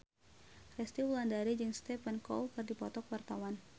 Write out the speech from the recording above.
Resty Wulandari jeung Stephen Chow keur dipoto ku wartawan